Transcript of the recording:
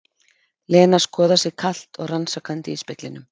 Lena skoðar sig kalt og rannsakandi í speglunum.